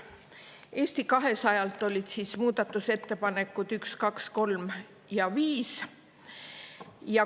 Eesti 200-lt olid muudatusettepanekud nr 1, 2, 3 ja 5.